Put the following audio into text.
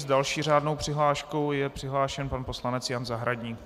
S další řádnou přihláškou je přihlášen pan poslanec Jan Zahradník.